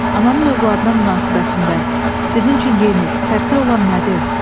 Ananın övladına münasibətində sizin üçün yeni, fərqli olan nədir?